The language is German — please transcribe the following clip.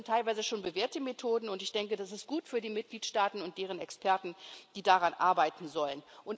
Das sind teilweise schon bewährte Methoden, und ich denke, das ist gut für die Mitgliedstaaten und deren Experten, die daran arbeiten sollen.